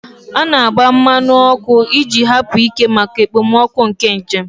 A na-agba mmanụ ọkụ iji hapụ ike maka okpomọkụ na njem.